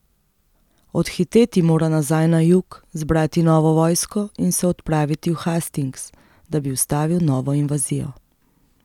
Odhiteti mora nazaj na jug, zbrati novo vojsko in se odpraviti v Hastings, da bi ustavil novo invazijo.